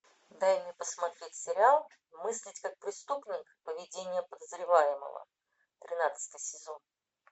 дай мне посмотреть сериал мыслить как преступник поведение подозреваемого тринадцатый сезон